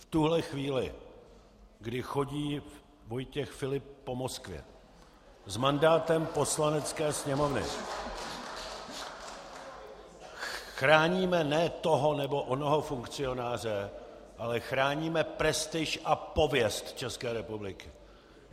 V tuto chvíli, kdy chodí Vojtěch Filip po Moskvě s mandátem Poslanecké sněmovny , chráníme ne toho nebo onoho funkcionáře, ale chráníme prestiž a pověst České republiky.